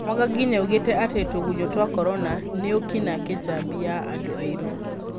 Mwangangi nĩaugĩte atĩ tũgunyũtwa Korona nĩũkina kĩjabi ya andũairũ.